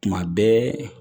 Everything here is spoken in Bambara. Tuma bɛɛ